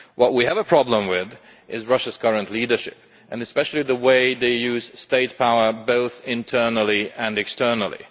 What we have a problem with is Russia's current leadership, and especially the way they use state power, both internally and externally.